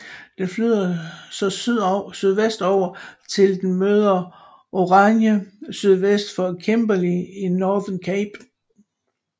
Den flyder så sydvestover til den møder Oranje sydvest for Kimberley i Northern Cape